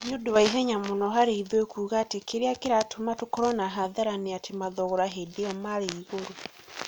Ni ũndũ wa ihenya muno harĩ ithuĩ kuuga atĩ kĩrĩa kĩratũma tũkorwo na hathara nĩ atĩ mathogora hĩndĩ ĩo marĩ igũrũ.